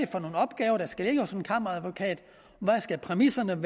for nogle opgaver der skal lægges hos en kammeradvokat hvad præmisserne